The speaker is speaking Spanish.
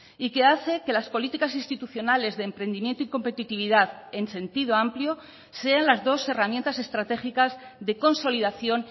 y que hace que las políticas institucionales de emprendimiento y competitividad en sentido amplio sean las dos herramientas estratégicas de consolidación